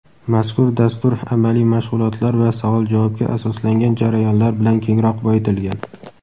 Mazkur dastur amaliy mashg‘ulotlar va savol-javobga asoslangan jarayonlar bilan kengroq boyitilgan.